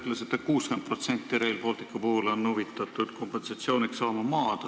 Te ütlesite, et 60% maaomanikest on Rail Balticu puhul huvitatud kompensatsiooniks maa saamisest.